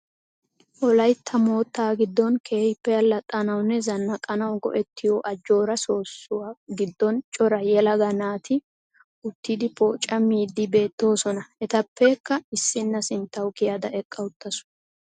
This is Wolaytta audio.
Wolaytta mottaa giddon kehippe aallaxanawunne zanaqanawu go7etiyo aajjoorraa soosuwaa giddon coora yelagga nati uttidi pooccamiyddi beetteessona etappekka issina sinttawu kiyada eqqaa uttasu